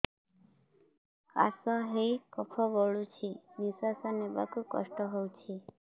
କାଶ ହେଇ କଫ ଗଳୁଛି ନିଶ୍ୱାସ ନେବାକୁ କଷ୍ଟ ହଉଛି